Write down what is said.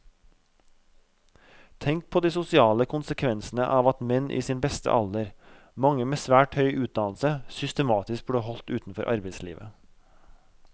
Tenk på de sosiale konsekvensene av at menn i sin beste alder, mange med svært høy utdannelse, systematisk blir holdt utenfor arbeidslivet.